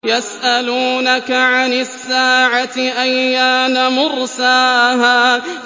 يَسْأَلُونَكَ عَنِ السَّاعَةِ أَيَّانَ مُرْسَاهَا